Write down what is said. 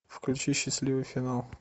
включи счастливый финал